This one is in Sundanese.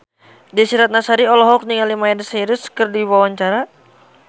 Desy Ratnasari olohok ningali Miley Cyrus keur diwawancara